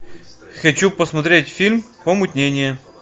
хочу посмотреть фильм помутнение